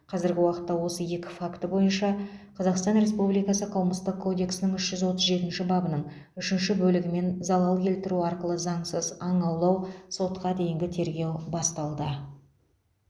қазіргі уақытта осы екі факті бойынша қазақстан республикасы қылмыстық кодексінің үш жүз отыз жетінші бабының үшінші бөлігімен залал келтіру арқылы заңсыз аң аулау сотқа дейінгі тергеу басталды